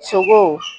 Sogo